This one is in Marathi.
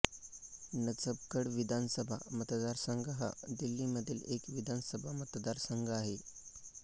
नजफगढ विधानसभा मतदारसंघ हा दिल्लीमधील एक विधानसभा मतदारसंघ आहे